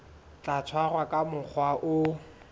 tla tshwarwa ka mokgwa o